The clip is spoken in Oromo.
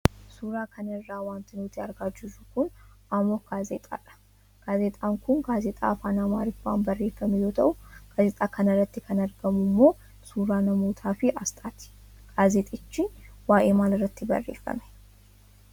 Suuraa kana irraa wanti nuti argaa jirru kun ammok gaazexaadha . Gaazexaan kun gaazexaa afaan amaariffaan barreefame yoo ta'u, gaazexaa kanarratti kan argamu ammoo suuraa namootaaafi aasxaati. Gaazexichi waayee maalirratti barreefame?